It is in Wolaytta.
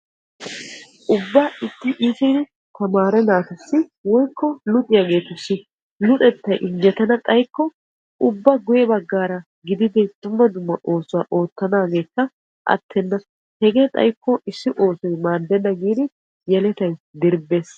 Ixxi iittiddi luxanchchattuyo luxettay injjettana xayikko ubba guye bagara hara oosuwa oottana koshees. Qassikka yelettay luxettay maadenna giidi dirbbees.